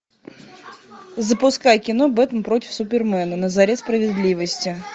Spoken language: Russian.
запускай кино бэтмен против супермена на заре справедливости